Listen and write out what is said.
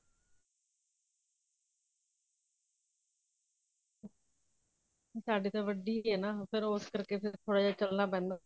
ਸਾਡੇ ਤਾਂ ਵੱਡੀ ਐ ਨਾ ਉਹ ਫੇਰ ਉਸ ਕਰਕੇ ਫੇਰ ਥੋੜਾ ਜਾ ਚਲਨਾ ਪੈਂਦਾ